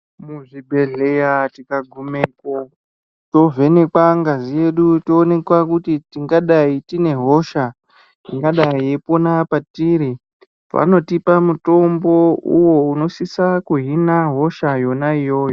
Muzvibhedhleya tikagumepo, tovhenekwa ngazi yedu, toonekwa kuti tingadai tine hosha ungadai yeipona patiri .Vanotipa mutombo uwo unosisa kuhina hosha yona iyoyo.